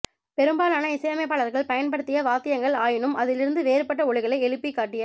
பெரும்பாலான இசையமைப்பாளர்கள் பயன் படுத்திய வாத்தியங்கள் ஆயினும் அதிலிருந்து வேறுபட்ட ஒலிகளை எலூபிக் காட்டிய